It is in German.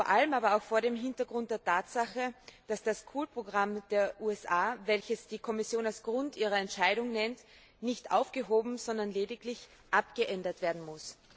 Vor allem aber auch vor dem Hintergrund der Tatsache, dass das COOL Programm der USA, welches die Kommission als Grund ihrer Entscheidung nennt, nicht aufgehoben, sondern lediglich abgeändert werden muss.